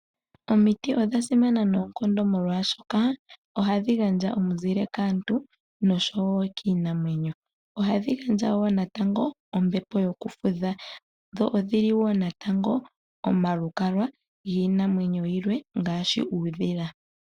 Omiti odha simana unene molwaashoka ohadhi gandja ominzile kaantu noshowo kiinamwenyo. Ohadhi gandja wo natango ombepo yokufudha. Sho odhi li wo natango omalukalwa giinamwenyo yilwe ngaashi uudhila.